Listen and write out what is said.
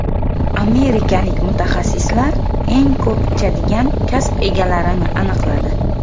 Amerikalik mutaxassislar eng ko‘p ichadigan kasb egalarini aniqladi.